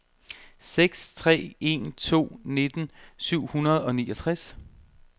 seks tre en to nitten syv hundrede og niogtres